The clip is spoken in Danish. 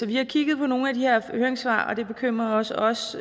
vi har kigget på nogle af de her høringssvar og det bekymrer også os